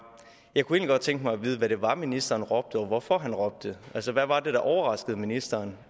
jeg kunne egentlig godt tænke mig at vide hvad det var ministeren råbte og hvorfor han råbte altså hvad var det der overraskede ministeren